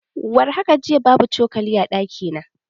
War haka jiya, babu cokali a ɗaki na.